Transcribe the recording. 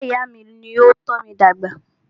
Ìyá ìyá à mí ní o tọ́ mí dàgbà.